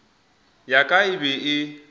ya ka e be e